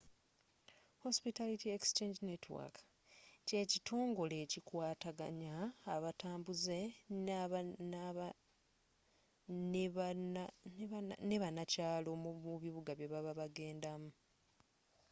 hospitality exchange network kyekitongole ekikwataganya abatambuze ne bannakyaalo mu bibuga byebaba bagendamu